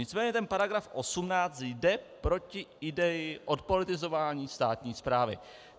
Nicméně ten paragraf 18 jde proti ideji odpolitizování státní správy.